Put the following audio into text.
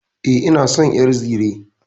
E, ina son ƴar zire.